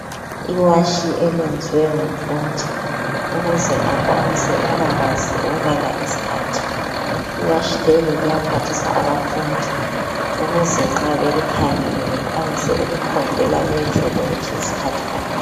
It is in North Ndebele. Iwashi eliyenzwe ngumfundi ukuze akwanise ukubakwazi ukubala isikhathi, iwashi leli liyaphathisa abafundi ukuze nxa belikhangele bekwanise ukukhombela betsho ukuthi yisikhathi bani.